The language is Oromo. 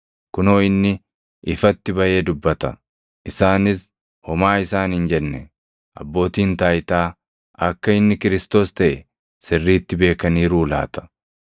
Kunoo inni ifatti baʼee dubbata; isaanis homaa isaan hin jenne. Abbootiin taayitaa akka inni Kiristoos + 7:26 yookaan Masiihii taʼe sirriitti beekaniiruu laata?